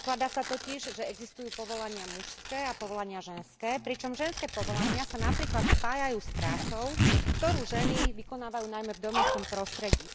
Predpokladá sa totiž, že existujú povolania mužské a povolania ženské, pričom ženské povolania sa napríklad spájajú s prácou, ktorú ženy vykonávajú najmä v domácom prostredí.